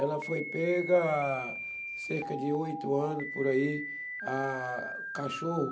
Ela foi pega há cerca de oito anos por aí, ah, cachorro.